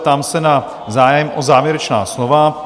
Ptám se na zájem o závěrečná slova?